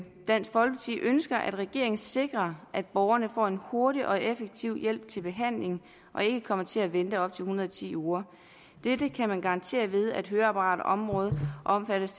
dansk folkeparti ønsker at regeringen sikrer at borgerne får en hurtig og effektiv hjælp til behandling og ikke kommer til at vente op til en hundrede og ti uger dette kan man garantere ved at høreapparatområdet omfattes